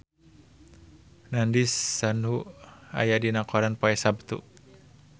Nandish Sandhu aya dina koran poe Saptu